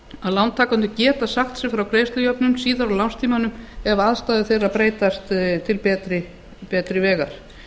að lántakendur geta sagt sig frá greiðslujöfnun síðar á lánstímanum ef aðstæður þeirra breytast til betri vegar